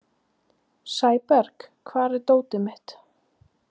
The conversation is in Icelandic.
Sæberg, hvar er dótið mitt?